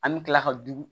An bɛ tila ka du